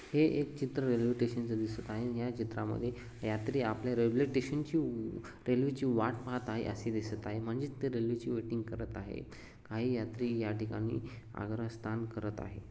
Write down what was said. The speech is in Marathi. हे एक चित्र रेल्वे स्टेशनच दिसत आहे या चित्रामध्ये यात्री आपल्या रेल्वे स्टेशनची उ- रेल्वे ची वाट पाहत आहे असे दिसत आहे म्हणजे ते रेल्वे ची वेटिंग करत आहे. काही यात्री या ठिकाणी आग्रह स्थान करत आहे.